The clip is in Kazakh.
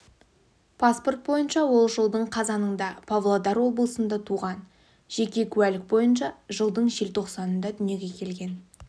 паспорт бойынша ол жылдың қазанында павлодар облысында туған жеке куәлік бойынша жылдың желтоқсанында дүниеге келген